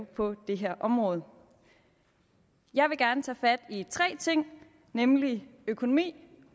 på det her område jeg vil gerne tage fat i tre ting nemlig økonomi